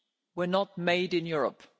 change were not made in Europe.